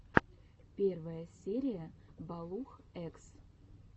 первая серия балух экс